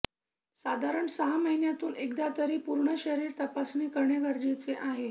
साधारण सहा महिन्यातून एकदा तरी पूर्ण शरीर तपासणी करणे गरजेचे आहे